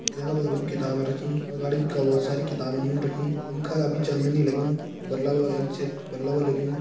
याका बगलम किताब रखीं अगाड़ी ब-भी बहोत सारी किताब यून रखीं पंखा अभी चलन नी लग्युं बल्ब एंच बल्ब लग्युं।